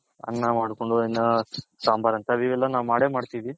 ಅನ್ನ ಮಾಡ್ಕೊಂಡು ಅನ್ನ ಸಾಂಬಾರ್ ಅಂತ ಇವೆಲ್ಲ ನಾವ್ ಮಾಡೇ ಮಾಡ್ತಿವಿ.